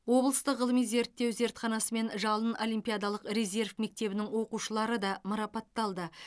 облыстық ғылыми зерттеу зертханасы мен жалын олимпиадалық резерв мектебінің оқушылары да марапатталды